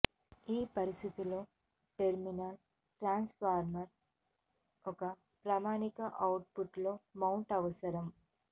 ఈ పరిస్థితి లో టెర్మినల్స్ ట్రాన్స్ఫార్మర్ ఒక ప్రామాణిక అవుట్పుట్ లో మౌంట్ అవసరం